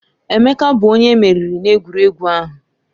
Emeka bụ onye emeriri n'egwuregwu ahụ.